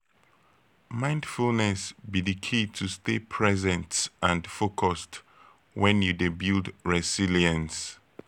mindfulness be di key to stay present and focused when you dey build resilience.